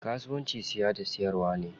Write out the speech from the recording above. Kasuwanci siya da siyarwa ne.